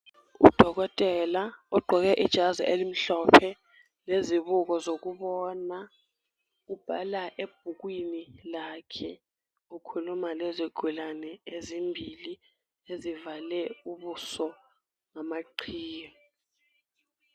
Udokotela ogqoke ijazi elimhlophe lezibuko zokubona ubhala ebhukwini lakhe ukhuluma lezigulane ezimbili ezivale ubuso ngamaqhiye.